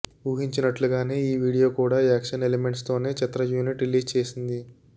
ఊహించినట్లుగానే ఈ వీడియో కూడా action elements తోనే చిత్ర యూనిట్ రిలీజ్ చేసింది